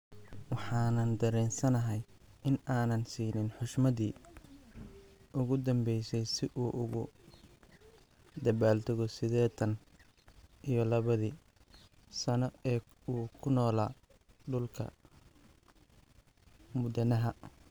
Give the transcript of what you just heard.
"Waxaan dareensanahay in aanan siinin xushmadii ugu dambeysay si uu ugu dabaaldego sideetan iyo labadi sano ee uu ku noolaa dhulka" "Mudanaha."